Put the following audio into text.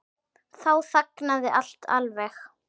Þá þagnaði allt alveg.